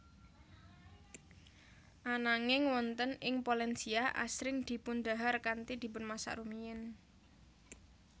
Ananging wonten ing Polensia asring dipundhahar kanthi dipunmasak rumiyin